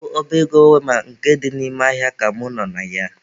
Ọ bụ ọba ego wema nke dị n'ime ahịa ka mụ nọ na ya.